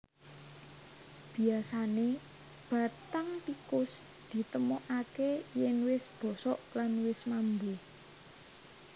Biyasané bathang tikus ditemokaké yèn wis bosok lan wis mambu